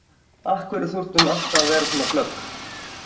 Af hverju þurfti hún alltaf að vera svona glögg?